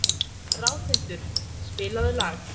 Ráðhildur, spilaðu lag.